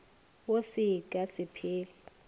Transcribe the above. wo se ka se phele